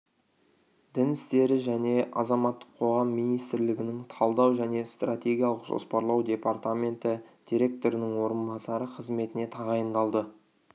дін істері және азаматтық қоғам министрлігінің талдау және стратегиялық жоспарлау департаменті директорының орынбасары қызметіне тағайындалды